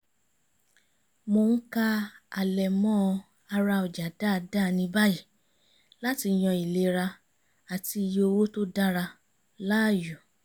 mò ń ka àlẹ̀mọ́ ara ọjà dáadáa ní báyìí láti yan ìlera àti iye owó tó dára láàyò